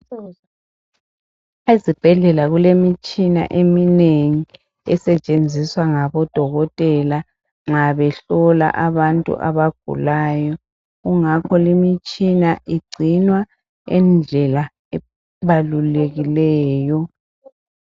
Ezibhedlela kulemtshina eminengi esetshenziswa ngabodokotela nxa behlola abantu abagulayo ingakho le mitshina igcinwa ngendlela ebalulekileyo.